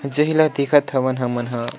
जेह ल देखत हवन हमन ह।